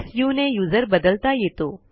सु ने यूझर बदलता येतो